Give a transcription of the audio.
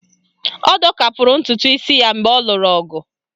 Ọ dọkapụrụ ntụtụisi ya mgbe ọ lụrụ ọgụ